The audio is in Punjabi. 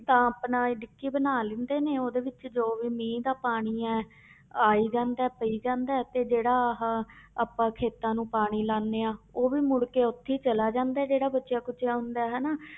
ਤਾਂ ਆਪਣਾ ਇਹ ਡਿੱਗੀ ਬਣਾ ਲੈਂਦੇ ਨੇ ਉਹਦੇ ਵਿੱਚ ਜੋ ਵੀ ਮੀਂਹ ਦਾ ਪਾਣੀ ਹੈ ਆਈ ਜਾਂਦਾ ਹੈ ਪਾਈ ਜਾਂਦਾ ਹੈ ਤੇ ਜਿਹੜਾ ਆਹ ਆਪਾਂ ਖੇਤਾਂ ਨੂੰ ਪਾਣੀ ਲਾਉਂਦੇ ਹਾਂ ਉਹ ਵੀ ਮੁੜ ਕੇ ਉੱਥੇ ਹੀ ਚਲਾ ਜਾਂਦਾ ਹੈ ਜਿਹੜਾ ਬਚਿਆ ਖੁਚਿਆ ਹੁੰਦਾ ਹੈ ਹਨਾ।